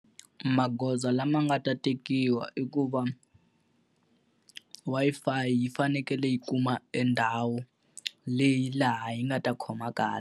Magoza lama nga ta tekiwa i ku va Wi-Fi yi fanekele yi kuma endhawu leyi laha yi nga ta khoma kahle.